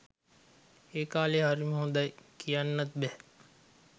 ඒ කාලේ හරිම හොඳයි කියන්නත් බැහැ.